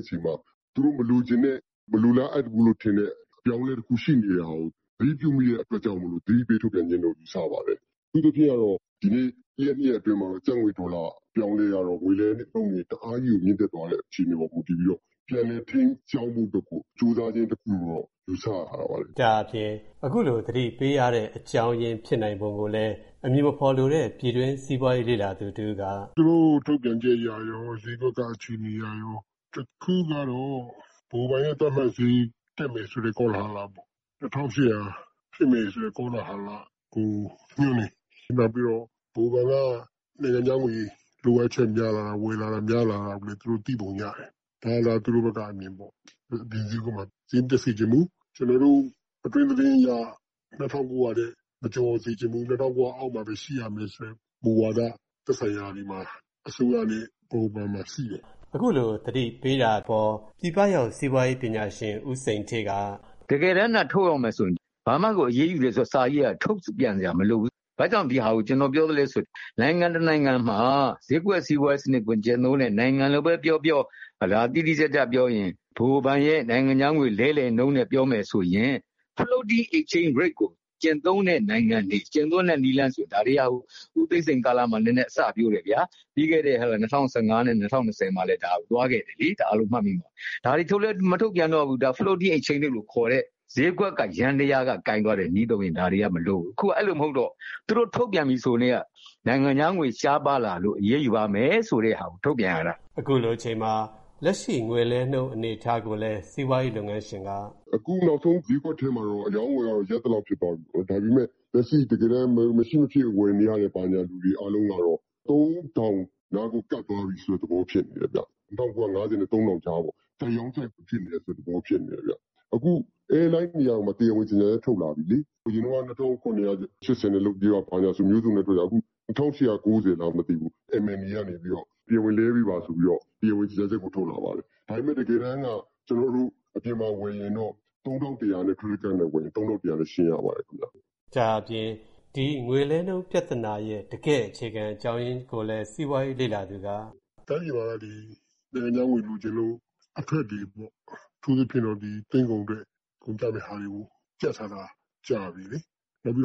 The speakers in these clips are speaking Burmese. အချိန်မှာသူတို့မလိုချင်တဲ့၊ မလိုလားအပ်ဘူးထင်တဲ့အပြောင်းအလဲတခုရှိနေတာကို သတိပြုမိတဲ့အတွက်ကြောင့်၊ သတိပေးထုတ်ပြန်တယ်လို့ယူဆပါတယ်။ အထူးသဖြင့်ကတော့ ဒီကနေ့တရက်နှစ်ရက် အတွင်းမှာ ကျပ်ငွေဒေါ်လာ အပြောင်းအလဲကတော့ ငွေလဲနှုန်းတအားကြီးကိုမြင့်တက်သွားတဲ့အခြေအနေ ပေါ်မူတည်ပြီးတော့ ပြန်လည်ထိန်းကြောင်းဖို့အတွက်ကို ကျိုးစားခြင်းတခုလို့ တော့ယူဆရတာပေါ့လေ” “ သူတို့ထုတ်ပြန်ချက်အရရော ဈေးကွက်ကအခြေအနေအရရော အခုကတော့ ဗဟိုဘဏ်ရဲ့သတ်မှတ်ဈေးတက်မယ်ဆို တဲ့ကောလဟာလပေါ့။ ၂၈၀၀ ဖြစ်မယ်ဆိုတဲ့ကောလဟာလကို ညွှန်းတယ်၊ နောက်ပြီးတော့ဗဟိုဘဏ်က နိုင်ငံခြားငွေ လိုအပ်ချက်များလာတာ၊ ဝယ်လာတာများလာတာကိုလည်းသူတို့သိပုံရတယ်။ ဒါကသူတို့ဘက်ကအမြင်ပေါ့။ အပြင်ဈေးမှာဈေးမတက်စေ့ချင်ဘူး၊ ကျနော်တို့အတွင်းသတင်းအရ ၂၉၀၀ ထက်မကျော်စေ့ချင်ဘူး၊ ၂၉၀၀ အောက် မှာဘဲရှိရမယ်ဆိုတဲ့မူဝါဒ သက်ဆိုင်ရာတွေမှာ၊ အစိုးရနဲ့ဗဟိုဘဏ်မှာရှိတယ်။” “ တကယ်တမ်းသာ ထုတ်ရောင်းမယ်ဆိုရင်ဘာမှဒီအရေးယူမယ်ဆိုတဲ့စာကြီးကထုတ်ပြန်စရာမလိုဘူး။ ဘာကြောင့်ဒါကို ကျနော်ပြောလဲဆိုရင်၊ နိုင်ငံတနိုင်ငံမှာ ဈေးကွက်စီးပွားရေးစနစ်ကိုကျင့်တဲ့နိုင်ငံလိုဘဲပြောပြော၊ တိတိကျကျပြောရင် ဗဟိုဘဏ်ရဲ့ နိုင်ငံခြားငွေလဲလှယ်နှုန်းနဲ့ပြောမယ်ဆိုရင်၊ Floating Exchage Rate နည်းလမ်းကိုကျင့်သုံးတဲ့ နိုင်ငံတွေဆိုရင်၊ ဦးသိန်းစိန်လက်ထက်တုန်းကနဲနဲအစပျိုးတယ်ဗျာ၊ ပြီးခဲ့တဲ့ ၂၀၁၅ နဲ့ ၂၀၂၀ မှာတုန်းကလည်းသွားခဲ့တယ်လေ၊ အားလုံးမှတ်မိမှာပါ၊ ဒါတွေထုတ်လည်းမထုတ်ပြန်တော့ဘူး၊ Floating Exchange Rate လို့ခေါ်တဲ့ဈေးကွက်ယန္တယားက ကိုင်သွားတဲ့နည်းသုံးရင်ဒါတွေကမလိုတော့ဘူး၊ အခုက အဲလိုမဟုတ်တော့၊ အခုထုတ်ပြန်ပြီဆိုကတည်းက နိုင်ငံခြားငွေရှားပါးလာလို့ အရေးယူမယ်ဆိုတာကို ထုတ်ပြန်ရတာ။” “ အခုနောက်ဆုံးဈေးကွက်ထဲမှာက အရောင်းအဝယ်ကရပ်သလောက်ဖြစ်သွားပြီပေါ့၊ ဒါပေမယ့် လက်ရှိတကယ်တမ်း မရှိမဖြစ်ဝယ်ယူနေရသူတွေအားလုံးက ၃၀၀၀ နားကိုကပ်သွားပြီဆိုတဲ့သဘောဖြစ်နေတယ်၊ ၂၉၅၀ နဲ့ ၃၀၀၀ ကြားပေါ့။ ကြိုက်ရောင်း၊ ကြိုက်ဝယ်သဘောမျိုးဖြစ်နေတယ်ဗျ။ အခု Air Line တွေကတရားဝင်ကြေငြာချက် ထုတ်လာပြီလေ၊ အရင်က ၂၇၈၀ နဲ့ လုပ်ပေးပါဆိုတာမျိုးပြောခဲ့တာ၊ အခု ၂၈၉၀ လားမသိဘူး၊ လဲပေးပါဆိုပြီးတော့ MMA ကတောင်းဆိုတဲ့၊ တရားဝင်ကြေငြာချက်ထွက်လာတယ်။ ဒါပေမယ့်တကယ်တမ်းက ကျနော်တို့၊ အပြင်မှာဝယ်ရင်တော့၊ ခရက်တစ်ကဒ်နဲ့ဝယ်ရင်တော့ ၃၁၀၀ နဲ့ရှင်းပေးရပါတယ်။” “ တိုင်းပြည်မှာက ဒီနိုင်ငံခြားငွေလိုချင်လို့၊ အထွက်တွေပေါ့၊ ဒီသွင်းကုန်အတွက်ကုန်ကျမယ့်ဟာတွေကိုကြပ်ထားတာ ကြာပီလေ၊ နောက်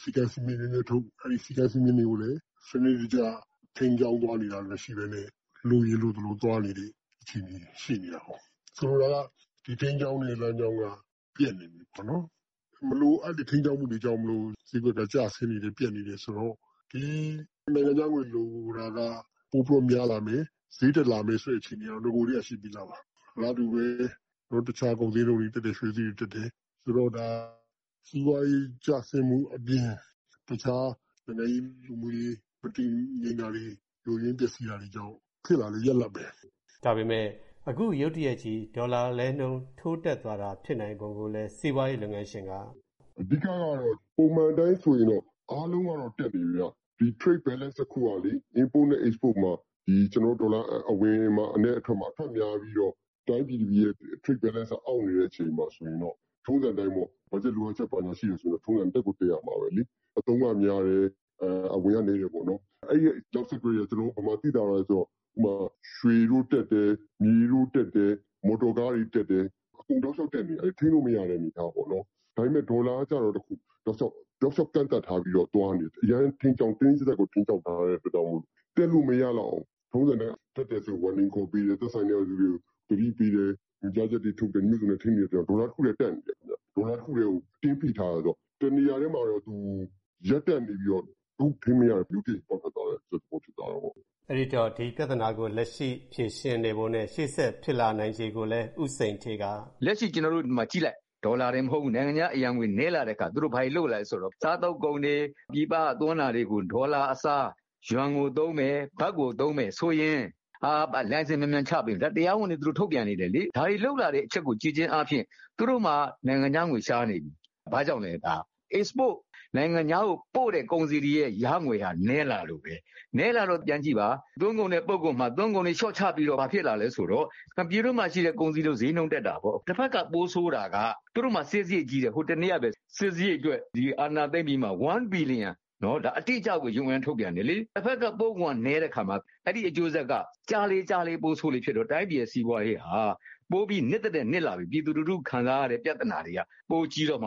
ပြီးတော့ စည်းကမ်းစည်းမျဉ်းတွေနင်းထုတ်၊ အဲဒိစည်းကမ်းစည်းမျဉ်းတွေကိုလည်း စနစ်တကျ ထိန်းကြောင်းသွားနေတာမရှိဘဲနဲ့၊ လိုရင်လိုသလိုသွားနေတဲ့အခြေအနေတွေရှိနေတာကို၊ ဆိုလိုတာက ဒီထိန်းကြောင်း တဲ့လမ်းကြောင်းက ပျက်နေပြီပေါ့နော်၊ မလိုအပ်တဲ့ထိန်းကြောင်းမှုတွေကြောင့် ဈေးကွက်ကျဆင်းနေတယ်၊ ပျက်နေ တယ်ဆိုတော့၊ ဒီနိုင်ငံခြားငွေလိုတယ်တာကပိုပြီးတော့များလာမယ်၊ ဈေးတက်လာမယ်၊ လာမယ်ဆိုတဲ့အခြေအနေက အရင်ကတည်းကရှိပြီးသားပါ။ အလားတူဘဲအခြားကုန်ဈေးနှုန်းတွေတက်တယ်၊ ရွှေဈေးတွေတက်တယ်။ ဆိုတော့ဒါစီးပွားရေးကျဆင်းမှုအပြင် အခြားနိုင်ငံရေးလူမှုရေး၊ မတည်ငြိမ်တာတွေ ယိုယွင်းပျက်စီးတာ ကြောင့်ဖြစ် လာတဲ့ရလဒ်ဘဲ၊” “ အဓိကကတော့ ပုံမှန်အတိုင်းဆိုရင်တော့ အားလုံးကတော့တက်နေတယ်ဗျ။ ဒီ Trade balance မှာ Import and Export မှာ ဒေါ်လာအဝင်နဲ့အထွက်မှာ၊ အထွက်များပြီးတော့ တိုင်းပြည်ရဲ့ Trade balance ကမညီမျှဖြစ်နေတဲ့အခြေအနေမှာဆိုရင်ပေါ့၊ ထုံစံအတိုင်းဘတ်ဂျက်လိုအပ်ချက်ရှိတယ် ဆိုရင်တော့၊ ထုံစံအတိုင်းတက်ကိုတက်ရမှာဘဲလေ။ အသုံးကများတယ်၊ အဝင်ကနည်းတယ်ပေါ့နော်၊ အဲဒိနောက် ဆက်တွဲတွေကဘယ်မှာသိသာသွားလဲဆိုတော့၊ ကျနော်တို့ရွှေဈေးတက်တယ်၊ မြေဈေးတက်တယ်၊ မော်တော်ကားဈေးတွေတက်တယ်၊ အကုန်တောက်လျောက်တက်နေတာ၊ အကုန်ထိန်းလို့မရတဲ့သဘောပေါ့နော်၊ ဒါပေမယ့်ဒေါ်လာကကျတော့ တောက်လျောက်ကန့်သန့်ထားပြီးတော့သွားနေတာ၊ အရမ်းတင်းတင်းကြပ်ကြပ်ကိုထိန်း ကြောင်းထားတဲ့အတွက်ကြောင့်မလို့ တက်လို့မရလောက်အောင်၊ ထုံစံအတိုင်း တက်တယ်ဆိုရင်သတိပေးတယ်၊ သက်ဆိုင်ရာလူတွေကိုသတိပေးတယ်။ ညွှန်ကြားချက်တွေထုတ်တယ်၊ မျိုးစုံနဲ့ထိန်းတယ်ဆိုတော့၊ ဒေါ်လာတခုထဲကို အတင်းဖိထားတာဆိုတော့ တနေရာထဲမှာရပ်တန့်နေပြီးတော့၊ အခုထိန်းမရ တော့တဲ့အခြေအနေမျိုးမှာ ရုတ်တရက်ကြီး ပေါက်ထွက်သွားတဲ့အခြေအနေမျိုးဖြစ်သွားတာပေါ့။” “ လက်ရှိဒေါ်လာတင်မကဘူး၊ နိုင်ငံခြားအရံငွေနည်းလာတဲ့အခါ၊ သူတို့ဘာတွေလုပ်လာဆိုတော့ စားသုံးကုန်တွေ၊ ပြည်ပကသွင်းတာတွေကိုဒေါ်လာအစားယွမ်ကိုသုံးမယ်၊ ဘတ်ကိုသုံးမယ်ဆိုရင်၊ လိုင်စင်မြန်မြန်ချပေး၊ ဒါတွေ တရားဝင်တွေထုတ်ပြန်နေတယ်လေ၊ ဒါတွေလုပ်လာတဲ့အချက်ကိုကြည့်ခြင်းအားဖြင့်၊ သူတို့မှာနိုင်ငံခြားငွေရှားနေပြီ၊ ဘာကြောင့်လည်းဒါက နိုင်ငံခြားကိုတင်ပို့တဲ့ကုန်စည်တွေရဲ့ဝင်ငွေကနည်းလာလို့ဘဲ၊ နည်းလာတော့ပြန်ကြည့်ပါ၊ သွင်းကုန်နဲ့ပို့ကုန် မှာသွင်းကုန်တွေလျော့ချတော့ ဘာဖြစ်လာလဲဆိုတော့ ပြည်တွင်းမှာရှိတဲ့ကုန်စည်တွေ ဈေးနှုန်း တွေတက်ကုန်တာပေါ့၊ တဘက်မှာပိုဆိုးတာက သူတို့မှာစစ်စားရိတ်ကြီးတယ်၊ ဟိုတနေ့ကဘဲ စစ်စားရိတ်အတွက် ဒီအာဏာသိမ်းပြီးမှာ ၁ ဘီလီယံရှိတယ်၊ ဒါ UN ကထုတ်ပြန်တယ်လေ၊ တဘက်ကပို့ကုန်ကနည်းတဲ့အခါမှာ အဲဒိအကျိုးဆက်က ကြာလေကြာလေပိုဆိုးလေဖြစ်လာတော့၊ တိုင်းပြည်ရဲ့စီးပွားရေး ဟာပိုပြီးနစ်သထက်နစ်လာပြီး၊ ပြည်သူလူထုခံစားရတဲ့ ပြဿနာတွေကပိုကြီးတော့မှာ